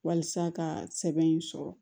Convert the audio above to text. Walasa ka sɛbɛn in sɔrɔ